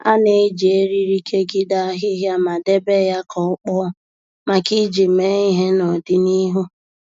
A na-eji eriri kegide ahịhịa ma debe ya ka ọ kpọọ maka iji mee ihe n’odịnihu